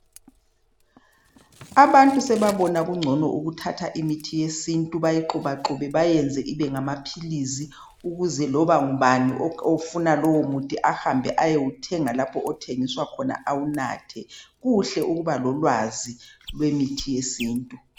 Abantu sebabona kungcono ukuthatha imithi yesintu bayixhubaxhube beyiyenze ibengamaphilisi ukuze loba mbani ofuna lowomuthi ahambe ayewuthenga lapho othengiswa khona awunathe. Kuhle ukuba lolwazi lwemithi yesintu.